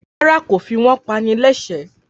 Rárá, kò fi wọ́n pani lẹ́ṣẹ̀ẹ́.